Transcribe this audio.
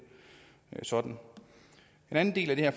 sådan en anden del af det her